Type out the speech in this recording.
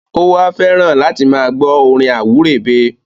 ó wa nífẹ́ láti máa gbọ́ orin àwúrèbe.